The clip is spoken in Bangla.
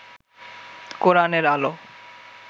কোরআনের আলো